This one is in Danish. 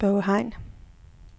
Børge Hein